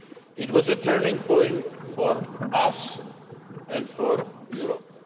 It was a turning point for us and for Europe.